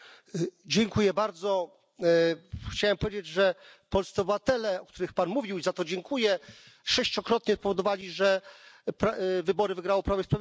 Chciałbym powiedzieć, że polscy obywatele, o których Pan mówił i za to dziękuję sześciokrotnie spowodowali, że wybory wygrało Prawo i Sprawiedliwość, także za taką troskę dziękujemy.